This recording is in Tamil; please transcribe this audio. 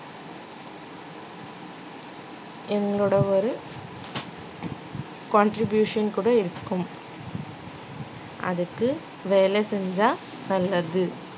எங்களோட ஒரு contribution கூட இருக்கும் அதுக்கு வேலை செஞ்சா நல்லது